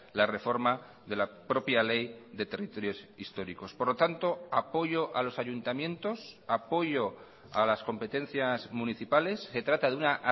la reforma de la propia ley de territorios históricos por lo tanto apoyo a los ayuntamientos apoyo a las competencias municipales se trata de una